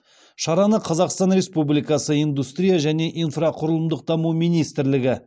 шараны қазақстан республикасы индустрия және инфрақұрылымдық даму министрлігі